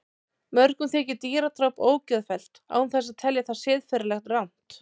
Mörgum þykir dýradráp ógeðfellt án þess að telja það siðferðilega rangt.